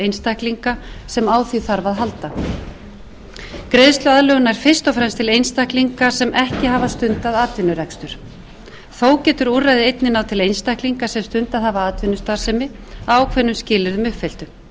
einstaklinga sem á því þarf að halda greiðsluaðlögun nær fyrst og fremst til einstaklinga sem ekki hafa stundað atvinnurekstur þó getur úrræðið einnig á til einstaklinga sem stundað hafa atvinnustarfsemi að ákveðnum skilyrðum uppfylltum þá er það